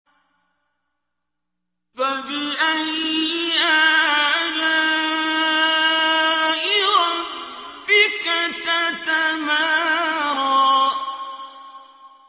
فَبِأَيِّ آلَاءِ رَبِّكَ تَتَمَارَىٰ